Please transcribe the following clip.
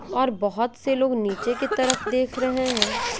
और बहुत से लोग नीचे की तरफ देख रहे हैं।